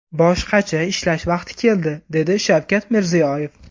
Boshqacha ishlash vaqti keldi”, – dedi Shavkat Mirziyoyev.